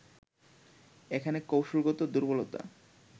এখানে কৌশলগত দুর্বলতা